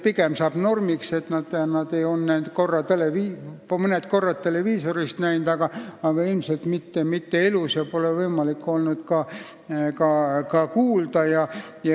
Pigem saab normiks see, et nad on neid näinud mõne korra televiisorist, aga ilmselt mitte elus, ja neid pole olnud võimalik ka isiklikult kuulda.